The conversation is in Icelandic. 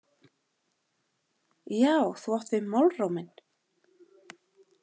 Já, þú átt við málróminn!